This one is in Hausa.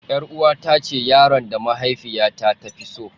Yar'uwata ce yaron da mahaifiyata ta fi so.